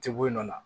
Tɛ bɔ yen nɔ